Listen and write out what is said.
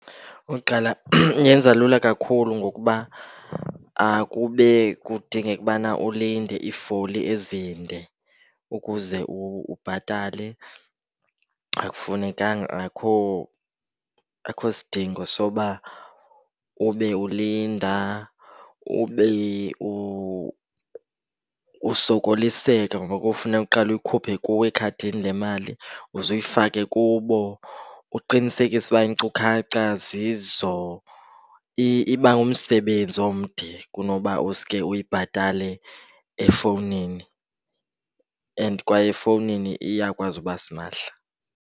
Okokuqala, yenza lula kakhulu ngokuba akube kudingeka ubana ulinde iifoli ezinde ukuze ubhatale. Akufunekanga, akho, akho sidingo soba ube ulinda, ube usokoliseka ngoku kufuneka uqale uyikhuphe kuwe ekhadini le mali uze uyifake kubo, uqinisekise ukuba iinkcukacha zizo. Iba ngumsebenzi omde kunoba uske uyibhatale efowunini and kwaye efowunini iyakwazi uba simahla.